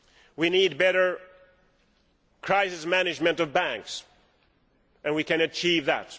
We need better crisis management of banks and we can achieve that.